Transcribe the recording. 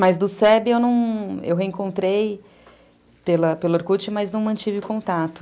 Mas do se be eu reencontrei pelo Orkut, mas não mantive o contato.